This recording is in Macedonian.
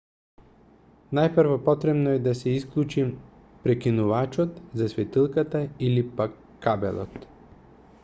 најпрво потребно е да се исклучи прекинувачот за светилката или пак кабелот